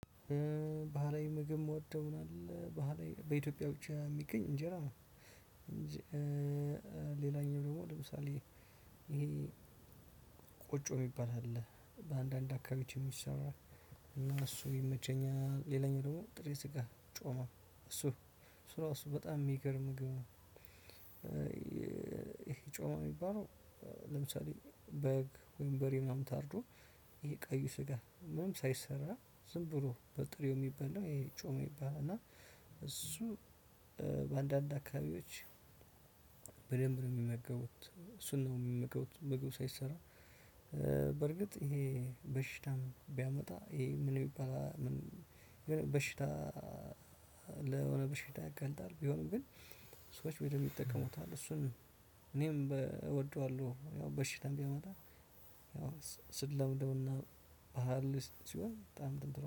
ባህላዊ ምግብ የምወደው ምን አለ ባህላዊ በኢትዮጵያ ብቻ የሚገኝ እንጀራ ነው። እንጂ ሌላኛው ደግሞ ለምሳሌ እ ይሄ ቆጮ የሚባል አለ በአንዳንድ አካባቢዎች ይሰራል። እና እሱ ይመቸኛል። ሌላኛው ደግሞ ጥሬ ስጋ ጮማ እሱ እሱ እራሱ በጣም የሚገርም ምግብ ነው። ይሄ ጮማ የሚባለው ለምሳሌ በግ ወይም በሬ ምናምን ታርዶ ይሄ ቀዩ ስጋ ምናምን ሳይሰራ ዝም ብሎ በጥሬ የሚበላው እሱ ጮማ ይባላል። እና እሱ እ በአንዳንድ አካባቢዎች በደንብ ነው የሚመገቡት እሱን ነው የሚመገቡት። ምግብ ሳይሰራ እ በርግጥ ይሄ በሽታም ቢያመጣ ይሄ ምን ይባላል ምን በሽታ? ለሆነ በሽታ ያጋልጣል። ቢሆንም ግን ሰዎች በደንብ ይጠቀሙታል እሱን። እኔም እወደዋለሁ ያው በሽታም ቢመጣ እ ስንለምደውና ባህል ሲሆን በጣም ትንትራው